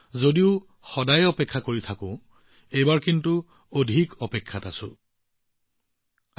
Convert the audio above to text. যদিও ইয়াৰ বাবে সদায় অপেক্ষা কৰিব লাগিব এইবাৰ অপেক্ষা মাত্ৰ দীঘলীয়া